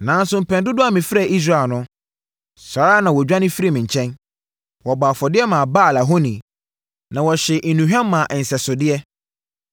Nanso mpɛn dodoɔ a mefrɛɛ Israel no, saa ara na wɔdwane firii me nkyɛn. Wɔbɔɔ afɔdeɛ maa Baal ahoni, na wɔhyee nnuhwam maa nsɛsodeɛ.